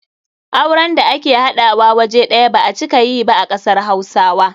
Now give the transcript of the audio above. Auren da ake haɗawa waje ɗaya ba a cika yi ba a kasar hausawa.